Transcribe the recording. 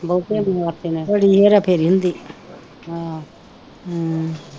ਬੜੀ ਹੇਰਾ ਫੇਰਾ ਹੁੰਦੀ ਹਮ